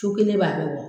Cu kelen b'a bɛɛ bɔ